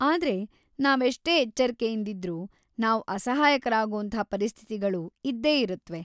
ಆದ್ರೆ ನಾವೆಷ್ಟೇ ಎಚ್ಚರ್ಕೆಯಿಂದಿದ್ರೂ, ನಾವ್ ಅಸಹಾಯಕರಾಗೋಂಥ ಪರಿಸ್ಥಿತಿಗಳು ಇದ್ದೇ ಇರುತ್ವೆ.